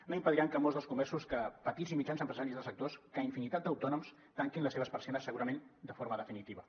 no impediran que molts dels comerços petits i mitjans empresaris dels sectors infinitat d’autònoms tanquin les seves persianes segurament de forma definitiva